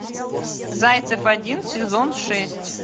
зайцев один сезон шесть